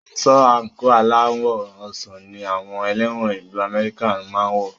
Aṣọ àńkò aláwọ̀ ọsàn ní àwọn ẹlẹ́wọ̀n ìlu Amẹ́ríkà máa ń wọ